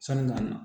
Sanni ka na